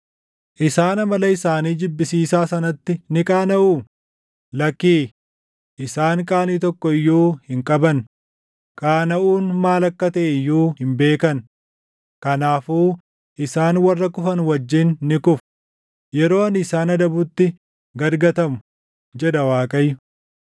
Isaan amala isaanii jibbisiisaa sanatti ni qaanaʼuu? Lakkii, isaan qaanii tokko iyyuu hin qaban; qaanaʼuun maal akka taʼe iyyuu hin beekan. Kanaafuu isaan warra kufan wajjin ni kufu; yeroo ani isaan adabutti gad gatamu” jedha Waaqayyo.